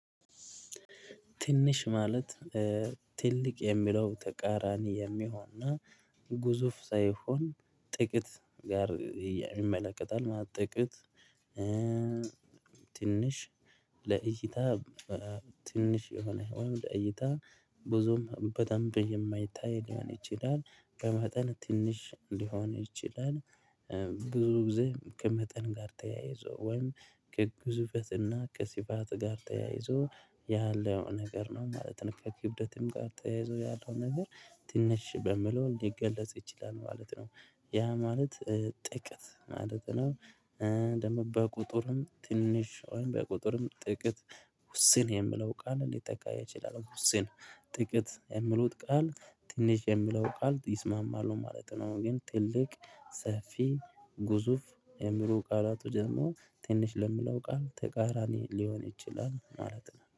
ትንሽ ማለት ትልቅ የሚለው ተቃራኒ የሚሆንና ግዙፍ ሳይሆን ጥቂት ጋር ይመለከታል ማለት ጥቂት። ለእይታ ትንሽ የሆነ ወይም ለእይታ ብዙም በደንብ የማይታይ ሊሆን ይችላል። በመጠን ትንሽ ሊሆን ይችላል ብዙ ጊዜ ከመጠን ጋር ተያይዞ ወይም ከግዙፈትና ከስፋት ጋር ተያይዞ ያለው ነገር ነው ማለት ከክብደትም ጋር ተያይዞ ያለው ነገር ትንሽ በሚል ሊገለጽ ይችላል ማለት ነው። ያ ማለት ጥቂት ማለት ነው። ደግሞ በቁጥርም ትንሽ በቁጥርም ጥቅት ውስን የምለው ቃል ሊጠቃ ይችላል ውስን። ጥቂት የምሉት ቃል ትንሽ የሚለው ቃል ይስማማሉ ማለት ነው። ግን ትልቅ ሰፊ ግዙፍ የሚሉ ቃላቱ ደግሞ ትንሽ ለምለው ቃል ተቃራኒ ሊሆን ይችላል ማለት ነው